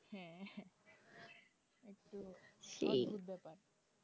অদ্ভুত ব্যাপার